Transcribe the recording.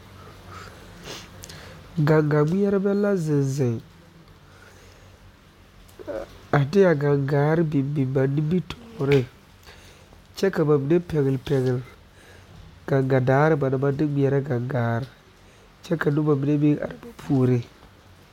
Gaŋga ŋmeɛrbɛ la zeŋ zeŋ a de a gaŋgaare biŋ biŋ ba nimitɔɔreŋ kyɛ ka ba mine pɛgele pɛgele gaŋga daare na ba naŋ maŋ de ŋmeɛrɛ gaŋgaare kyɛ ka noba mine meŋ are ba puori